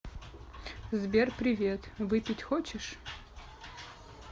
сбер привет выпить хочешь